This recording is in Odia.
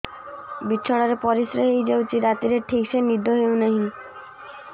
ବିଛଣା ରେ ପରିଶ୍ରା ହେଇ ଯାଉଛି ରାତିରେ ଠିକ ସେ ନିଦ ହେଉନାହିଁ